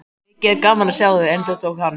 Mikið er gaman að sjá þig, endurtók hann.